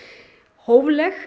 hófleg